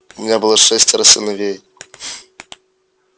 у меня было шестеро сыновей